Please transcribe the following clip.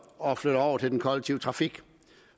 og flytter over til den kollektive trafik